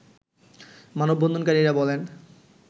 মানববন্ধনকারীরা বলেন